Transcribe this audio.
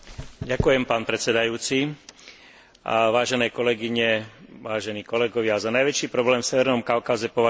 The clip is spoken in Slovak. Za najväčší problém v severnom Kaukaze považujem nevšímavosť k najdôležitejšiemu aspektu, dodržiavaniu ľudských práv jednotlivcov.